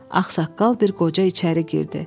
Ağsaqqal bir qoca içəri girdi.